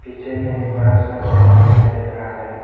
पीछे में एक बड़ा सा बैनर दिखाई दे रहा है।